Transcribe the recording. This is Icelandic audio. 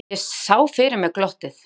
Ég sá fyrir mér glottið.